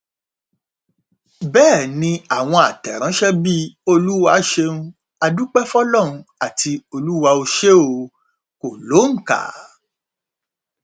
bẹẹ ni àwọn àtẹrànṣe bíi olúwa ṣeun á dúpẹ fọlọrun àti olúwa ò ṣe o kò lóǹkà